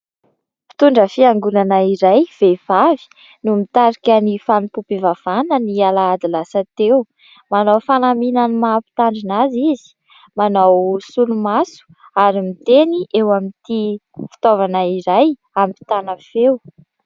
Mpitondra fiangonana iray vehivavy no mitarika ny fanompoam-pivavahana ny alahady lasa teo. Manao fanamina ny maha mpitandrina azy izy, manao solomaso ary miteny eo amin'ity fitaovana iray ampitana feo